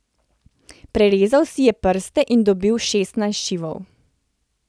Prerezal si je prste in dobil šestnajst šivov.